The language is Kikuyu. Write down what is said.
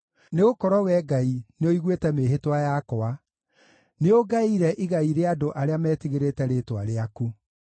Nĩgũkorwo Wee Ngai nĩũiguĩte mĩĩhĩtwa yakwa, nĩũngaĩire igai rĩa andũ arĩa metigĩrĩte rĩĩtwa rĩaku.